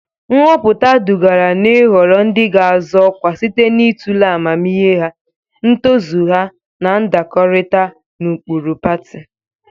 Nhọpụta dugara n'ịhọrọ ndị ga-azọ ọkwa site n'ịtụle ahụmịhe ha, ntozu ha, na ndakọrịta na ụkpụrụ pati.